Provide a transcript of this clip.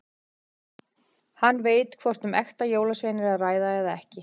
Hann veit hvort um ekta jólasvein er að ræða eða ekki.